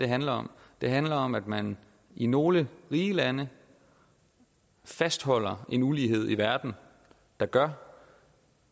handler om det handler om at man i nogle rige lande fastholder en ulighed i verden der gør